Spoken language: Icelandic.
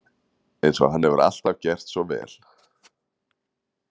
Eins og hann hefur alltaf gert svo vel.